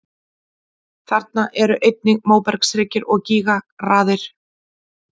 Þarna eru einnig móbergshryggir og gígaraðir.